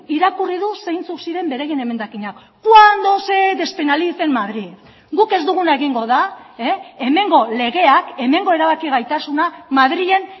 irakurri du zeintzuk ziren beraien emendakinak cuando se despenalice en madrid guk ez duguna egingo da hemengo legeak hemengo erabaki gaitasuna madrilen